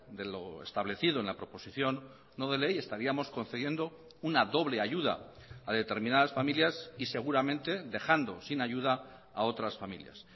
de lo establecido en la proposición no de ley estaríamos concediendo una doble ayuda a determinadas familias y seguramente dejando sin ayuda a otras familias